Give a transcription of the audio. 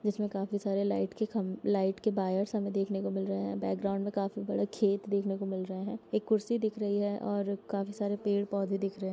इसमें काफी सारे लाईट के खमबे लाइट के बायर हुमें देखने को मिल रहे हैं बैक्ग्राउण्ड में काफी बड़ा खेत देखने को मिल रहे हैं एक कुर्सी दिख रही है और काफी सरे पेड़-पौधे दिख रहे है |